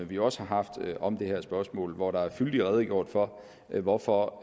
vi også har haft om det her spørgsmål hvor der fyldigt er redegjort for hvorfor